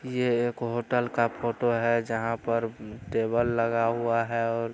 ये एक होटल का फोटो है जहाँ पर टेबल लगा हुआ है और --